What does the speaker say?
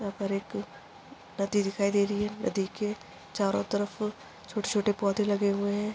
ऊपर एक नदी दिखाई दे रही है नदी के चारों तरफ छोटे-छोटे पौधे लगे हुए है।